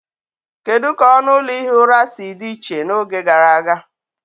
Kedu ka ọnụ ụlọ ihi ụra si dị iche n'oge gara aga